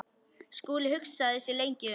Skúli hugsaði sig lengi um.